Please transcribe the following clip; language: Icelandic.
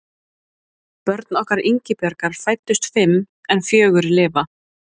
Börn okkar Ingibjargar fæddust fimm en fjögur lifa.